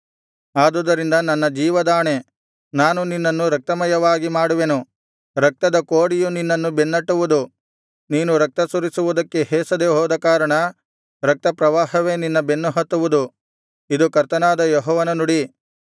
ಆದುದರಿಂದ ನನ್ನ ಜೀವದಾಣೆ ನಾನು ನಿನ್ನನ್ನು ರಕ್ತಮಯವಾಗಿ ಮಾಡುವೆನು ರಕ್ತದ ಕೋಡಿಯು ನಿನ್ನನ್ನು ಬೆನ್ನಟ್ಟುವುದು ನೀನು ರಕ್ತ ಸುರಿಸುವುದಕ್ಕೆ ಹೇಸದೆ ಹೋದಕಾರಣ ರಕ್ತಪ್ರವಾಹವೇ ನಿನ್ನ ಬೆನ್ನಹತ್ತುವುದು ಇದು ಕರ್ತನಾದ ಯೆಹೋವನ ನುಡಿ